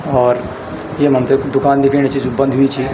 और येमा हमते ऐक दुकान दिखेंणी च जु बंद हुयीं च।